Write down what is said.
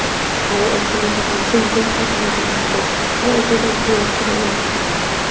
aru upar teh tai khan senset para banai ke na ase aru upar teh cross tu hoile red colour ase.